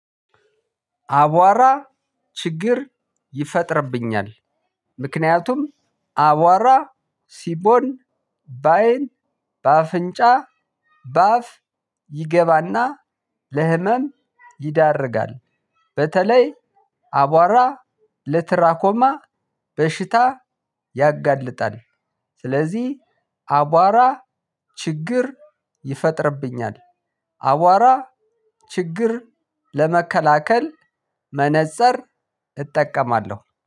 አቧራ ችግር ይፈጥርብኛል ምክንያቱም አቧራ ሲቦን በአይን በአፍንጫ በአፍ ይገባና ለህመም ይዳርጋል በተለይ አቧራ ለትራኮማ በሽታ ያጋልጣል። ስለዚህ አቧራ ችግር ይፈጥርብኛል። አቧራ ችግር ለመከላከል መነፅር እጠቀማለሁ።